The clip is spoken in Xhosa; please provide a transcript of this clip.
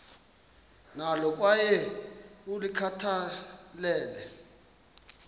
nalo kwaye ulikhathalele